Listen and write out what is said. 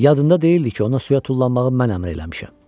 Yadında deyildi ki, ona suya tullanmağı mən əmr eləmişəm.